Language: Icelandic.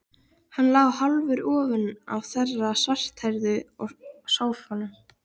Hann lá hálfur ofan á þeirri svarthærðu í sófanum.